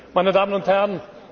Meine Damen und Herren!